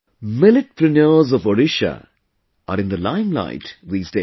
Milletpreneurs of Odisha are in the limelight these days